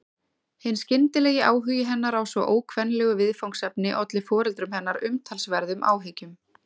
Hinn skyndilegi áhugi hennar á svo ókvenlegu viðfangsefni olli foreldrum hennar umtalsverðum áhyggjum.